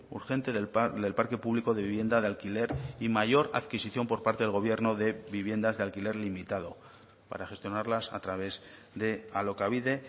urgente del parque público de vivienda de alquiler y mayor adquisición por parte del gobierno de viviendas de alquiler limitado para gestionarlas a través de alokabide